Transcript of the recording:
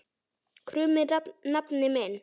krummi nafni minn.